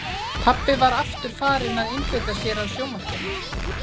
Pabbi var aftur farinn að einbeita sér að sjónvarpinu.